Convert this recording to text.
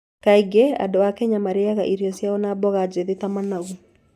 Kaingĩ andũ a Kenya marĩĩaga irio ciao na mboga njĩthĩ ta managu.